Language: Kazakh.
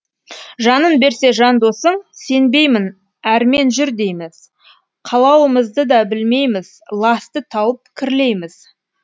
жанын берсе жан досың сенбеймін әрмен жүр дейміз қалауымызды да білмейміз ласты тауып кірлейміз